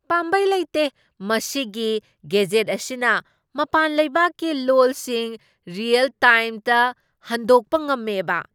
ꯄꯥꯝꯕꯩ ꯂꯩꯇꯦ! ꯃꯁꯤꯒꯤ ꯒꯦꯖꯦꯠ ꯑꯁꯤꯅ ꯃꯄꯥꯟ ꯂꯩꯕꯥꯛꯀꯤ ꯂꯣꯜꯁꯤꯡ ꯔꯤꯌꯦꯜ ꯇꯥꯏꯝꯗ ꯍꯟꯗꯣꯛꯄ ꯉꯝꯃꯦꯕꯥ?